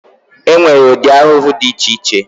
E nwere ụdị ahụhụ dị iche iche.